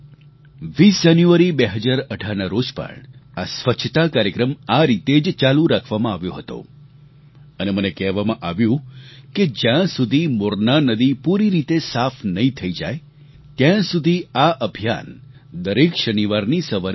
20 જાન્યુઆરી 2018 ના રોજ પણ આ સ્વચ્છતા કાર્યક્રમ આ રીતે જ ચાલુ રાખવામાં આવ્યો હતો અને મને કહેવામાં આવ્યું કે જ્યાં સુધી મોરના નદી પૂરી રીતે સાફ નહીં થઈ જાય ત્યાં સુધી આ અભિયાન દરેક શનિવારની સવારે ચાલશે